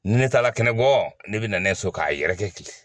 Ne tagala kɛnɛ bɔ ne bɛ na ne so k'a yɛrɛ tile